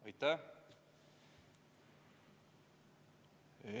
Aitäh!